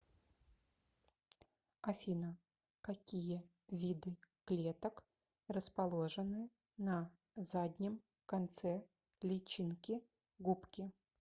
афина какие виды клеток расположены на заднем конце личинки губки